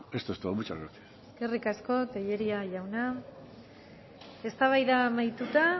esto es todo muchas gracias eskerrik asko tellería jauna eztabaida amaituta